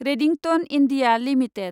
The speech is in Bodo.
Redington India limited